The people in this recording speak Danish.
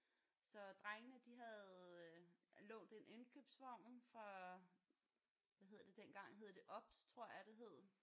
Så drengene de havde øh lånt en indkøbsvogn fra hvad hed det dengang hed det OBS tror jeg det hed